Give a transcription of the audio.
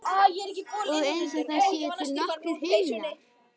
Og einsog það séu til nokkrir himnar.